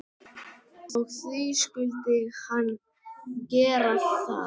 Og því skyldi hann gera það.